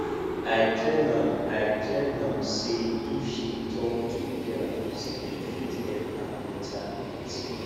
i tell am i tell am sey if she tok to therapist e fit help her mental health